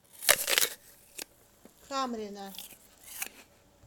хамрина